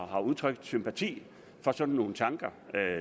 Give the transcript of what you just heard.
har udtryk sympati for sådan nogle tanker